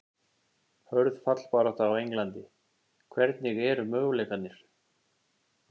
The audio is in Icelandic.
Hörð fallbarátta á Englandi- Hvernig eru möguleikarnir?